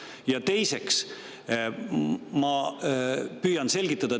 Ja teiseks, ma püüan selgitada.